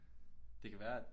Det kan være at